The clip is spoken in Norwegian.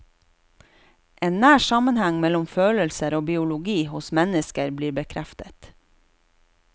En nær sammenheng mellom følelser og biologi hos mennesker blir bekreftet.